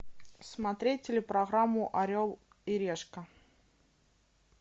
смотреть телепрограмму орел и решка